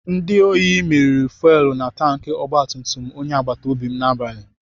Ndị ohi mịrị fuwelu na tanki ogbatumtum onye agbatobi n'abalị.